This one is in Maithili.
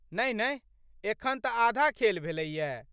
नहिनहि। एखन तऽ आधा खेल भेलैए।